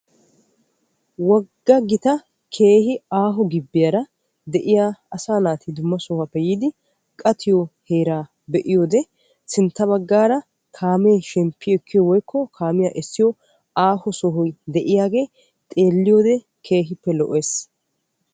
Wogaa gitaa keehi aaho gibiya de'iyaa asaa naati issippe de'iyoode kaame shemppiyo sohoy de'iyaage keehippe lo'ees.